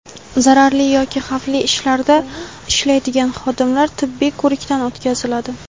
Zararli yoki xavfli ishlarda ishlaydigan xodimlar tibbiy ko‘rikdan o‘tkaziladi.